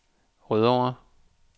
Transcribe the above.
Rødovre